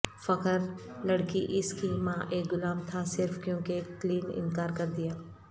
فخر لڑکی اس کی ماں ایک غلام تھا صرف کیونکہ کلین انکار کر دیا